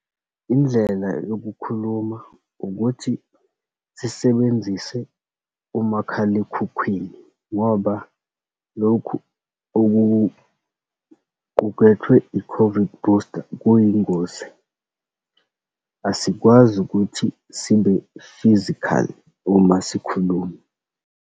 Indlela yokukhuluma, ukuthi sisebenzise umakhalekhukhwini ngoba lokhu okuqukethwe i-COVID booster kuyingozi. Asikwazi ukuthi sibe-physical uma sikhuluma.